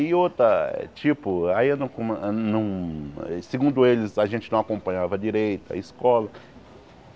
E outra, tipo, aí eu não co não... Segundo eles, a gente não acompanhava direito a escola.